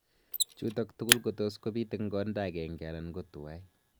chutok tugul kotus kopit eng konda agenge ana kotuwai